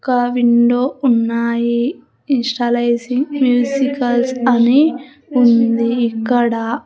ఒక విండో ఉన్నాయి initializing muscles అని ఉంది ఇక్కడ.